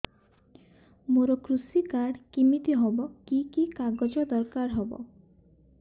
ମୋର କୃଷି କାର୍ଡ କିମିତି ହବ କି କି କାଗଜ ଦରକାର ହବ